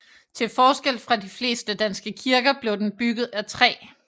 Til forskel fra de fleste danske kirker blev den bygget af træ